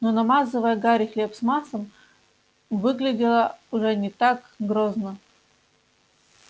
но намазывая гарри хлеб маслом выглядела уже не так грозно